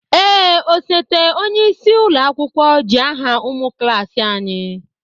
Ee, osote onyeisi ụlọ akwụkwọ ji aha ụmụ klaasị anyị.